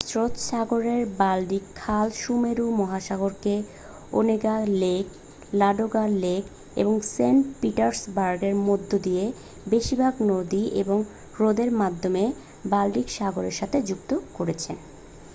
শ্বেত সাগরের-বাল্টিক খাল সুমেরু মহাসাগরকে ওনেগা লেক লাডোগা লেক এবং সেন্ট পিটার্সবার্গের মধ্য দিয়ে বেশিরভাগ নদী এবং হ্রদের মাধ্যমে বাল্টিক সাগরের সাথে যুক্ত করেছে